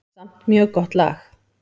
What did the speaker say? Samt mjög gott lag.